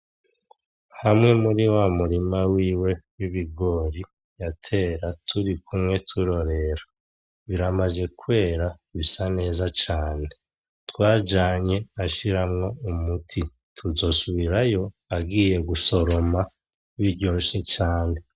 Hamwe muri wa murima wiwe w'ibigori yatera turikumwe turorera, biramaze kwera, bisa neza cane. Twajanye ashiramwo umuti, tuzosubirayo agiye gusoroma biryoshe cane.